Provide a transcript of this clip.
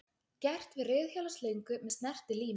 Gert við reiðhjólaslöngu með snertilími.